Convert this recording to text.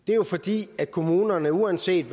det er jo fordi kommunerne uanset